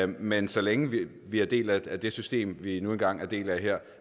men så længe vi er en del af det system vi nu engang er en del af her